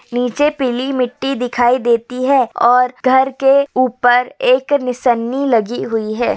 नीचे पीली मिट्टी दिखाई देती है और घर के ऊपर एक निशन्नी लगी हुई है।